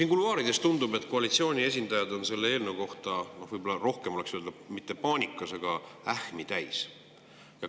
No kuluaarides tundub, et koalitsiooni esindajad on selle eelnõu tõttu mitte paanikas, aga – võib-olla oleks öelda nii – ähmi täis.